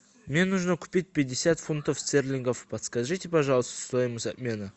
мне нужно купить пятьдесят фунтов стерлингов подскажите пожалуйста стоимость обмена